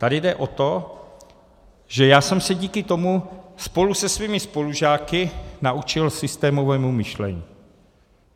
Tady jde o to, že já jsem se díky tomu spolu se svými spolužáky naučil systémovému myšlení.